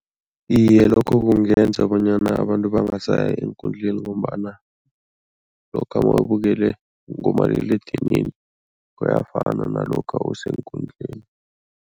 Iye, lokho kungenza bonyana abantu bangasaya eenkundleni ngombana lokha mawubukele ngomaliledinini kuyafana nalokha useenkundleni.